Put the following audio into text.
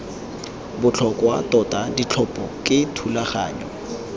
botlhokwa tota ditlhopho ke thulaganyo